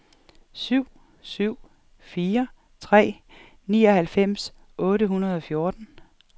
syv syv fire tre nioghalvfems otte hundrede og fjorten